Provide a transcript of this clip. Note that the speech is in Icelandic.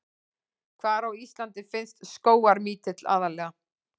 Hvar á Íslandi finnst skógarmítill aðallega?